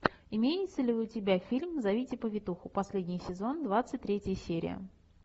имеется ли у тебя фильм зовите повитуху последний сезон двадцать третья серия